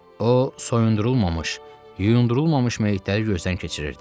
O, soyundurulmamış, yuyundurulmamış meyitləri gözdən keçirirdi.